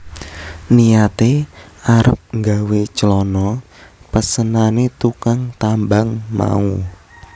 Niyate arep gawé clana pesenane tukang tambang mau